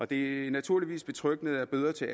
det er naturligvis betryggende at bøder til